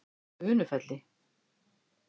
Unufelli